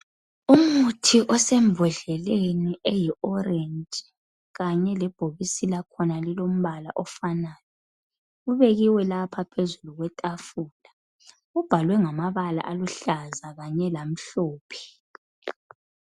umuthi osembhodleni eyi orange kanye lebhokisi lakhona lilompala ofanayo libekiwe lapha phezulu kwetafulaubhalwe ngamabala aluhlaza kanye lamhlophe